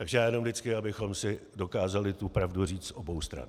Takže já jenom vždycky abychom si dokázali tu pravdu říci z obou stran.